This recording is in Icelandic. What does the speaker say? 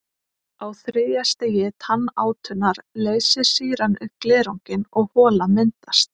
Á þriðja stigi tannátunnar leysir sýran upp glerunginn og hola myndast.